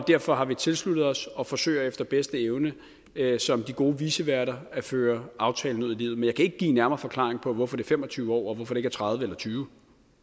derfor har vi tilsluttet os og forsøger efter bedste evne som de gode viceværter at føre aftalen ud i livet men jeg kan ikke give en nærmere forklaring på hvorfor det er fem og tyve år og hvorfor det ikke er tredive eller tyve